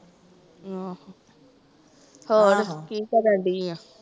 ਆਹ ਹੋਰ ਕੀ ਕਰਨ ਡੀ ਆਂ?